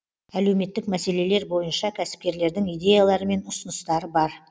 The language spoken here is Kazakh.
әлеуметтік мәселелер бойынша кәсіпкерлердің идеялары мен ұсыныстары бар